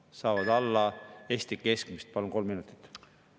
Jah, maksuvaba tulu on erinev, aga tulumaks on nii ettevõtjatele kui ka eraisikutele ühtemoodi 20%.